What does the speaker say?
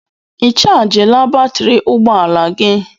Ị chajịla batrị ụgbọ ala gị?